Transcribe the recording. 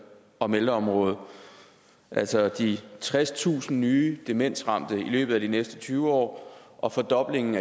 om ældreområdet altså de tredstusind nye demensramte i løbet af de næste tyve år og fordoblingen